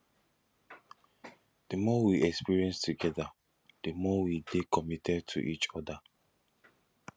the more we experience together di more we dey committed to each other